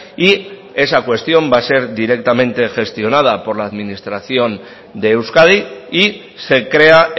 y esa cuestión va a ser directamente gestionada por la administración de euskadi y se crea